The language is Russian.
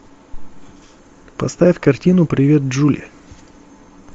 поставь картину привет джули